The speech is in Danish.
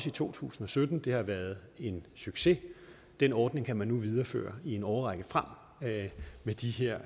i to tusind og sytten og det har været en succes den ordning kan man nu videreføre i en årrække frem med de her